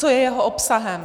Co je jeho obsahem?